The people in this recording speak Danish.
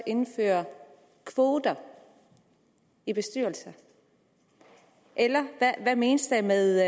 indføre kvoter i bestyrelser eller hvad menes der med